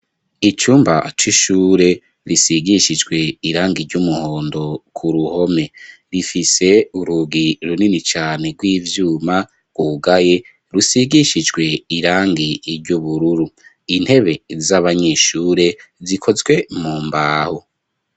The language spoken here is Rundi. Icumba c'ishure risigishijwe irangi ry'umuhondo ku ruhome, rifise urugi runini cane rw'ivyuma rwugaye, rusigishijwe irangi ry'ubururu, intebe z'abanyeshure zikozwe mu mbaho.